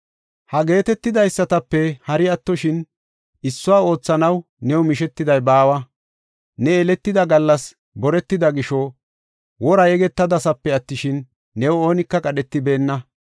Ha geetetidaysatape hari attoshin issuwa oothanaw new mishetiday baawa. Ne yeletida gallas boretida gisho wora yegetadasape attishin, new oonika qadhetibeenna.